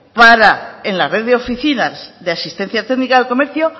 para en la red de oficinas de asistencia técnica del comercio